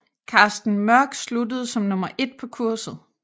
Carsten Mørch sluttede som nummer 1 på kurset